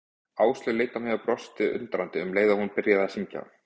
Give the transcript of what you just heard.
Áslaug leit á mig og brosti undrandi, um leið og hún byrjaði að syngja.